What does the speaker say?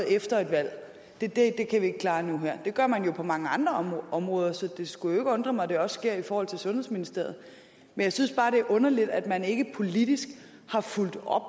efter et valg det kan vi ikke klare nu og her det gør man jo på mange andre områder så det skulle ikke undre mig at det også sker i forhold til sundhedsministeriet jeg synes bare det er underligt at man ikke politisk har fulgt op